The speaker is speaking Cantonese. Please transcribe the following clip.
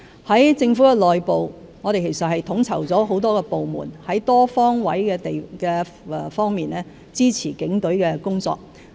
在政府內部，我們亦已統籌多個部門多方位支持警隊的工作。